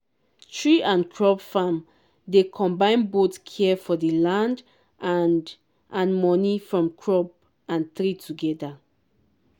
tree and crop farm dey combine both care for di land and and money from crop and tree together.